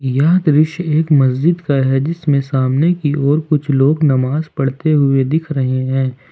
यह दृश्य एक मस्जिद का है जिसमें सामने की और कुछ लोग नमाज पढ़ते हुए दिख रहे हैं।